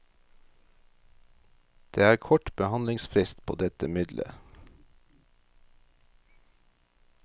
Det er kort behandlingsfrist på dette midlet.